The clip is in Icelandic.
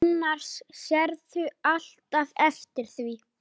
Annars sérðu alltaf eftir því.